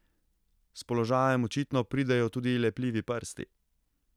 S položajem očitno pridejo tudi lepljivi prsti.